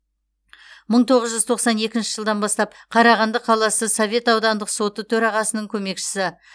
мың тоғыз жүз тоқсан екінші жылдан бастап қарағанды қаласы совет аудандық соты төрағасының көмекшісі